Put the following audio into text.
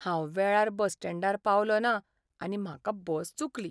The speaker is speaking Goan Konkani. हांव वेळार बस स्टँडार पावलो ना आनी म्हाका बस चुकली.